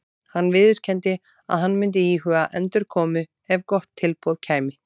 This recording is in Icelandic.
Hann viðurkenndi að hann myndi íhuga endurkomu ef gott tilboð kæmi.